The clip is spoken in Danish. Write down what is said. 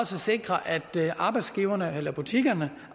sikrer at arbejdsgiverne eller butikkerne